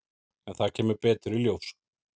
En það kemur betur í ljós.